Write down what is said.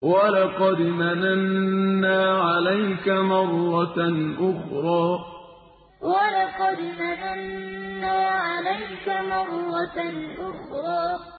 وَلَقَدْ مَنَنَّا عَلَيْكَ مَرَّةً أُخْرَىٰ وَلَقَدْ مَنَنَّا عَلَيْكَ مَرَّةً أُخْرَىٰ